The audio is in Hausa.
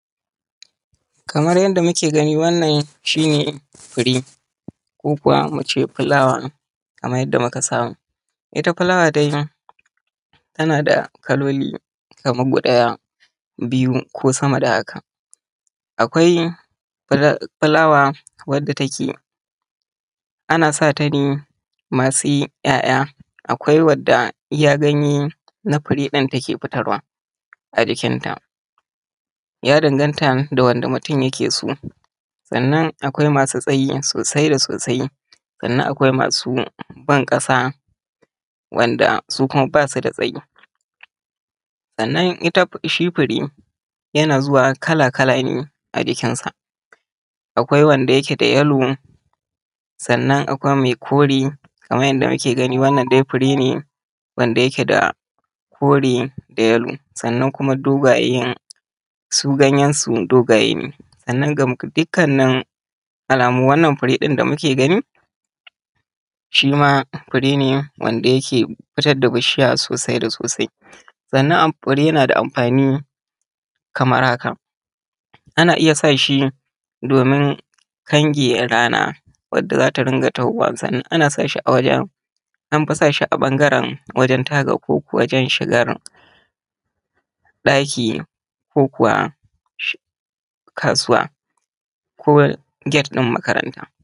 Kamar yadda muke gani wannan ita ce fure ko kuma mu ce filawa kamar yadda muka saba. Ita dai filawa tana da kalolili kamar biyu, akwai ko da ruwan sama ko da rana yana nufin komin halin da ake ciki za a ci gaba da aiki. Taimaka ma jiki amfani da kitse a matsayin matakaci hakan nan yana da mahimmanci a samu isashen bacci. Rashin bacci na iya hana rage ƙiba don haka a tabbatar ana samun a ƙalla awanni bakwai zuwa takwas na bacci. Mata su ne jigon rayuwa, mata su ne walwalar rayuwa. Tana tattatalin farin cikin mutanen da suke so a rayuwarta, kula da iyali da inganta tattalin arziki. Mata masu noma da jarire suna fuskantar ƙalubale na gajiya da rashin kayan zamani. Misali manomanmu suna aiki a kowane yanayi ko ana rana ko ruwa ko ana wani yanayi zan ci gaba da aiki a gonata. Kamar yadda muke gani wannan an fi sa shi ne a gate na makaranta.